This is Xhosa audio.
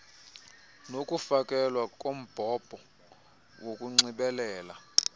nokufakelwa kombhobho wokunxibelela